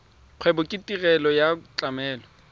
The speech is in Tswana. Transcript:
kgwebo ke tirelo ya tlamelo